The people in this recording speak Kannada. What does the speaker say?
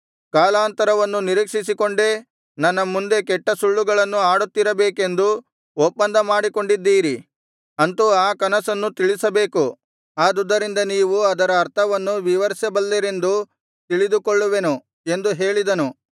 ಕಾಲಾಂತರವನ್ನು ನಿರೀಕ್ಷಿಸಿಕೊಂಡೇ ನನ್ನ ಮುಂದೆ ಕೆಟ್ಟ ಸುಳ್ಳುಗಳನ್ನು ಆಡುತ್ತಿರಬೇಕೆಂದು ಒಪ್ಪಂದ ಮಾಡಿಕೊಂಡಿದ್ದೀರಿ ಅಂತು ಆ ಕನಸನ್ನು ತಿಳಿಸಬೇಕು ಆದುದರಿಂದ ನೀವು ಅದರ ಅರ್ಥವನ್ನೂ ವಿವರಿಸಬಲ್ಲಿರೆಂದು ತಿಳಿದುಕೊಳ್ಳುವೆನು ಎಂದು ಹೇಳಿದನು